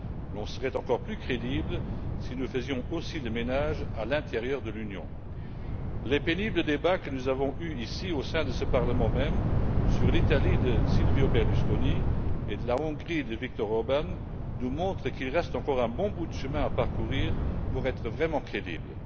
Nous serions encore plus crédibles si nous faisions aussi le ménage à l'intérieur de l'Union. Les pénibles débats que nous avons eus, ici, au sein de ce Parlement même, sur l'Italie de Silvio Berlusconi et la Hongrie de Viktor Orbán, nous montrent qu'il reste encore un bon bout de chemin à parcourir pour être vraiment crédibles.